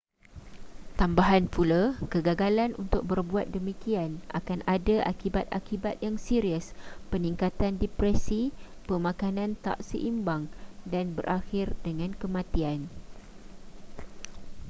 tambahan pula kegagalan untuk berbuat demikian akan ada akibat-akibat yang serius peningkatan depresi pemakanan tak seimbang dan berakhir dengan kematian